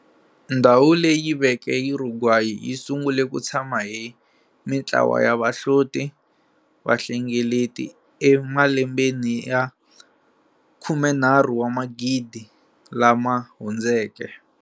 Ndhawu leyi veke Uruguay yi sungule ku tshama hi mintlawa ya vahlotivahlengeleti emalembeni ya 13 000 lama hundzeke.